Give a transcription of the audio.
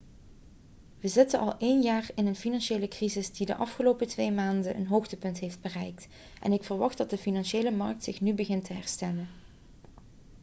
we zitten al een jaar in een financiële crisis die de afgelopen twee maanden een hoogtepunt heeft bereikt en ik verwacht dat de financiële markt zich nu begint te herstellen.'